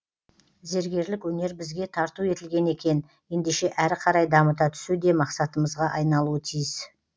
зергерлік өнер бізге тарту етілген екен ендеше әрі қарай дамыта түсу де мақсатымызға айналуы тиіс